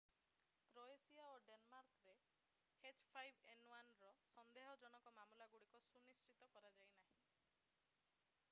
Croatia ଓ ଡେନମାର୍କରେ h5n1ର ସନ୍ଦେହଜନକ ମାମଲାଗୁଡ଼ିକ ସୁନିଶ୍ଚିତ କରାଯାଇନାହିଁ।